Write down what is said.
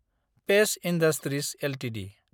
page industries Ltd